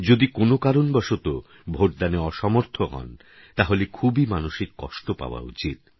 যদি কোনও কারণবশতঃ ভোটদানে অসমর্থ হন তাহলে খুবই মানসিক কষ্ট পাওয়া উচিত